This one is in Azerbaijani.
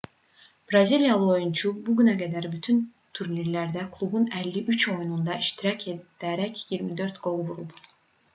braziliyalı oyunçu bu günə qədər bütün turnirlərdə klubun 53 oyununda iştirak edərək 24 qol vurub